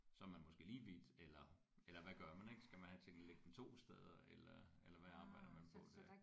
Så er man måske lige vidt eller eller hvad gør man ik skal man have tingene liggende 2 steder eller eller hvad arbejder man på der